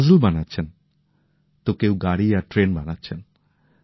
কেউ পাজল বানাচ্ছেন তো কেউ গাড়ি আর ট্রেন বানাচ্ছেন